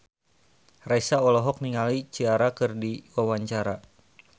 Raisa olohok ningali Ciara keur diwawancara